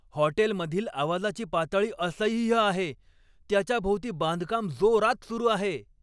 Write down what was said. हॉटेलमधील आवाजाची पातळी असह्य आहे, त्याच्या भोवती बांधकाम जोरात सुरू आहे.